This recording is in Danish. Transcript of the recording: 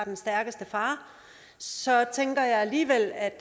den stærkeste far så tænker jeg alligevel at